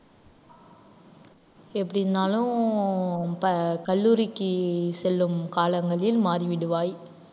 எப்படின்னாலும் பா~ கல்லூரிக்கு செல்லும் காலங்களில் மாறிவிடுவாய்